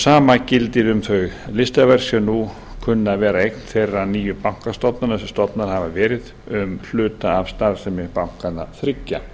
sama gildir um þau listaverk sem nú kunna að vera eign þeirra nýju bankastofnana sem stofnaðar hafa verið um hluta af starfsemi bankanna þriggja